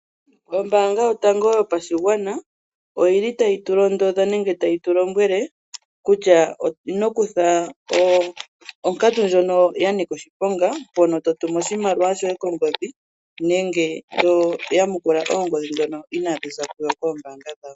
Ombaanga yotango yopashigwana oyili tayi tu londodha nenge tayi tulombwele kutya, ino kutha onkatu ndjono ya nika oshiponga mpono totumu oshimaliwa shoye kongodhi nenge toyamukula oongodhi dhono ina dhiza kuyo koombanga dhawo.